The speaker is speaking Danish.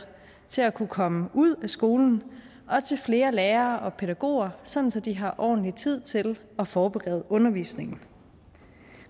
til at kunne komme ud af skolen og til flere lærere og pædagoger sådan at de har ordentlig tid til at forberede undervisningen